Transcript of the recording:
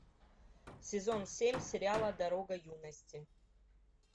сезон семь сериала дорога юности